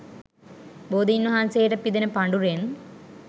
බෝධීන් වහන්සේට පිදෙන පඬුරෙන්